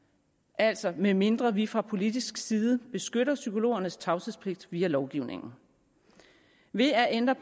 altså medmindre vi fra politisk side beskytter psykologernes tavshedspligt via lovgivningen ved at ændre